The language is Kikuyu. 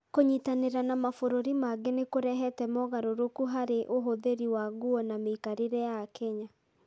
Kũnyitanĩra na mabũrũri mangĩ nĩ kũrehete mogarũrũku harĩ ũhũthĩri wa nguo na mĩikarĩre ya Akenya.